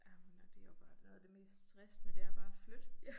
Jamen ja det jo bare noget af det mest stressende det er bare at flytte